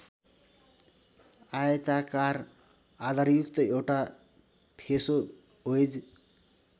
आयताकार आधारयुक्त एउटा फेसो वेज